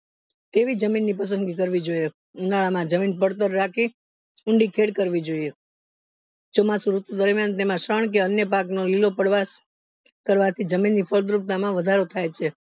તેવી મીન ની પસંદગી કરવી જોઈએ ઉનાળામાં જમીન પડતર રાખી ફેર કરવી જોઈએ ચોમાસું ઋતુ દરમિયાન તેમાં શન કે અન્ય ભાગ નો લીલો પદ્વાસ કરવાથી જમીનની ફળદ્રુપતા માં વધારો થાય છે